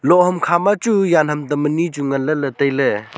lohham khama chu yan ham tam ani chu ngan le la taile.